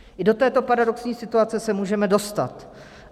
I do této paradoxní situace se můžeme dostat.